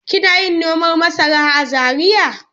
Kina yin noman masara a Zariya.